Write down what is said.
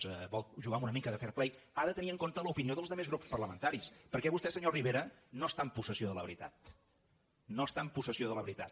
si vol jugar amb una mica de fair play ha de tenir en compte l’opinió dels altres grups parlamentaris perquè vostè senyor rivera no està en possessió de la veritat no està en possessió de la veritat